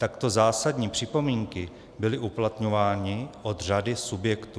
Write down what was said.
Takto zásadní připomínky byly uplatňovány od řady subjektů.